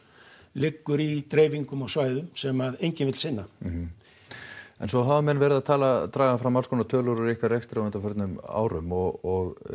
liggur í dreifingu á svæðum sem að enginn vill sinna mhm en svo hafa menn verið að draga fram tölur úr ykkar rekstri á undanförnum árum og